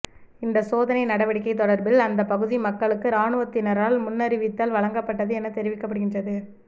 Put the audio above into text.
இந்தச் சோதனை நடவடிக்கை தொடர்பில் அந்தப் பகுதி மக்களுக்கு இராணுவத்தினரால் முன்னறிவித்தல் வழங்கப்பட்டது எனத் தெரிவிக்கப்படுகின்றது